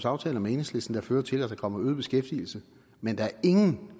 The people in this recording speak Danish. aftaler med enhedslisten der fører til at der kommet øget beskæftigelse men der er ingen